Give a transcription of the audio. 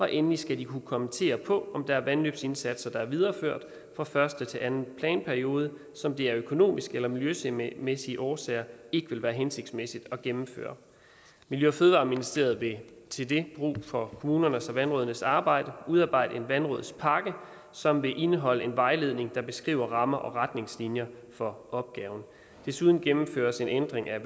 endelig skal de kunne kommentere på om der er vandløbsindsatser der er videreført fra første til anden planperiode og som det af økonomiske eller miljømæssige miljømæssige årsager ikke vil være hensigtsmæssigt at gennemføre miljø og fødevareministeriet vil til det brug for kommunernes og vandrådenes arbejde udarbejde en vandrådspakke som vil indeholde en vejledning der beskriver rammer og retningslinjer for opgaven desuden gennemføres en ændring af